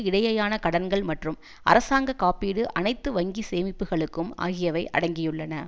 இடையேயான கடன்கள் மற்றும் அரசாங்க காப்பீடு அனைத்து வங்கி சேமிப்புக்களுக்கும் ஆகியவை அடங்கியுள்ளன